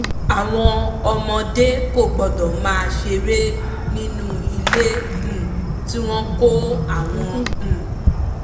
àwọn ọmọdé kò gbọ́dọ̀ máa ṣeré nínú ilé um tí wọ́n kó àwọn um